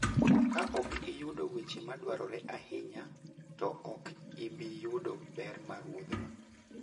Kaok iyudo weche madwarore ahinya, to ok ibi yudo ber mar wuodhno.